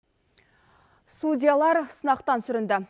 судьялар сынақтан сүрінді